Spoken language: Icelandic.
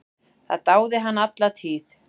Það dáði hann alla tíð.